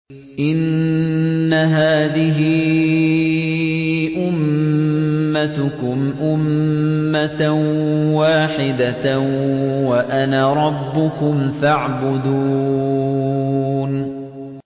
إِنَّ هَٰذِهِ أُمَّتُكُمْ أُمَّةً وَاحِدَةً وَأَنَا رَبُّكُمْ فَاعْبُدُونِ